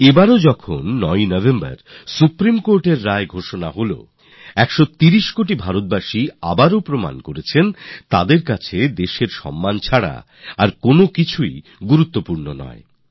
এই বারেও ৯ November supreme কোর্টের জাজমেন্ট এসেছে আর ১৩০ কোটি ভারতীয় আবার এটা প্রমাণ করেছে যে তাদের জন্য দেশের হিতের চেয়ে বড় কিছু নেই